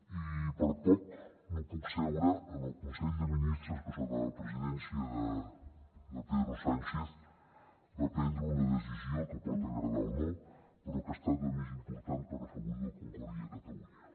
i per poc no puc seure en el consell de ministres que sota la presidència de pedro sánchez va prendre una decisió que pot agradar o no però que ha estat la més important per afavorir la concòrdia a catalunya